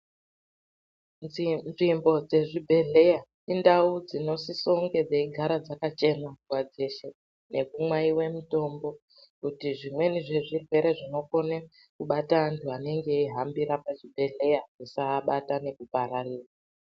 Nzvimbo dzezvibhedhleya indau dzinosisa kunge dzeigara dzakachena nguwa dzeshe nekumwaiwe mitombo kuti zvimweni zvezvirwere zvinokone kubata anhu anenge eihambira pazvibhedhlera zvisaabata nekupararira.